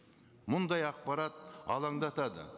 мұндай ақпарат алаңдатады